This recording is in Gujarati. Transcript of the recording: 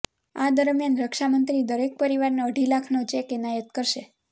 આ દરમિયાન રક્ષામંત્રી દરેક પરિવારને અઢી લાખનો ચેક એનાયત કરશે